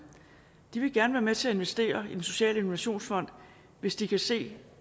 de vil gerne være med til at investere i den sociale innovationsfond hvis de kan se